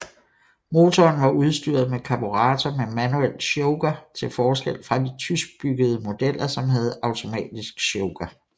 Motoren var udstyret med karburator med manuel choker til forskel fra de tyskbyggede modeller som havde automatisk choker